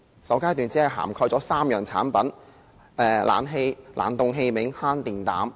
首階段只涵蓋3項產品，包括冷氣機、冷凍器具和慳電膽。